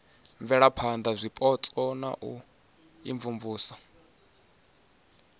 bvelaphana zwipotso na u imvumvusa